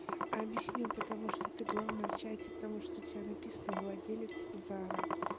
объясню потому что ты главная в чате потому что у тебя написано владелец зара